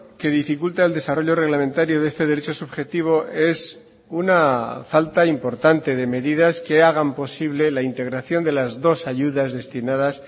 que dificulta el desarrollo reglamentario de este derecho subjetivo es una falta importante de medidas que hagan posible la integración de las dos ayudas destinadas